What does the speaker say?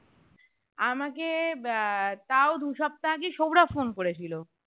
আমাকে আহ তাও দু সপ্তাহ আগে সৌরভ phone করে ছিল